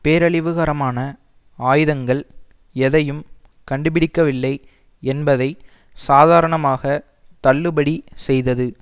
பேரழிவுகரமான ஆயுதங்கள் எதையும் கண்டுபிடிக்க வில்லை என்பதை சாதாரணமாக தள்ளுபடி செய்தது